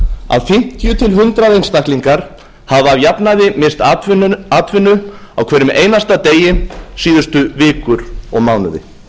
að fimmtíu til hundrað einstaklingar hafa að jafnaði misst atvinnu á hverjum einasta degi síðustu vikur og mánuði